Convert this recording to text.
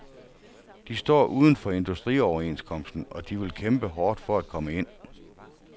De står uden for industrioverenskomsten, og de vil kæmpe hårdt for at komme ind.